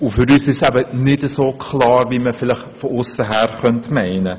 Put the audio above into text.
Für uns ist das Ganze nicht so klar, wie man vielleicht von aussen meinen könnte.